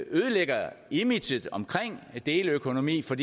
ødelægger imaget omkring deleøkonomi for